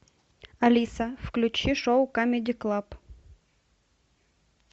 алиса включи шоу камеди клаб